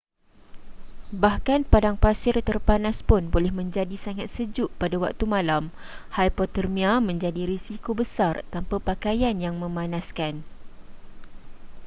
bahkan padang pasir terpanas pun boleh menjadi sangat sejuk pada waktu malam hipotermia menjadi risiko besar tanpa pakaian yang memanaskan